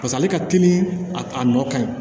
Pas'ale ka teli a nɔ ka ɲi